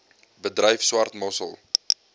bedryf swart mossel